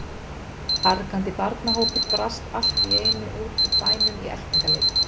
Argandi barnahópur brast allt í einu út úr bænum í eltingaleik.